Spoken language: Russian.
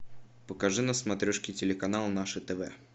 покажи на смотрешке телеканал наше тв